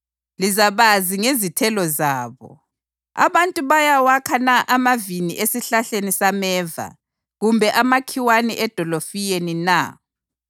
Lizabazi ngezithelo zabo. Abantu bayawakha na amavini esihlahleni sameva kumbe amakhiwane edolofiyeni na?